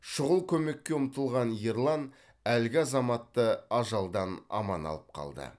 шұғыл көмекке ұмтылған ерлан әлгі азаматты ажалдан аман алып қалды